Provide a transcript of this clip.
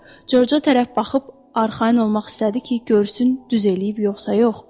Corca tərəf baxıb arxayın olmaq istədi ki, görsün düz eləyib yoxsa yox.